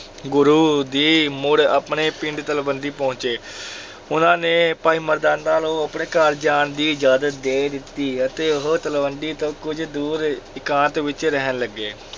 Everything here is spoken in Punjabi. ਗੁਰੂ ਜੀ ਮੁੜ ਆਪਣੇ ਪਿੰਡ ਤਲਵੰਡੀ ਪਹੁੰਚੇ ਉਹਨਾਂ ਨੇ ਭਾਈ ਮਰਦਾਨਾ ਨੂੰ ਆਪਣੇ ਘਰ ਜਾਣ ਦੀ ਇਜਾਜ਼ਤ ਦੇ ਦਿੱਤੀ ਅਤੇ ਉਹ ਤਲਵੰਡੀ ਤੋਂ ਕੁਝ ਦੂਰ ਇਕਾਂਤ ਵਿੱਚ ਰਹਿਣ ਲੱਗੇ।